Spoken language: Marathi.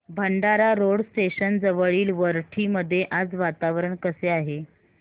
भंडारा रोड स्टेशन जवळील वरठी मध्ये आज वातावरण कसे आहे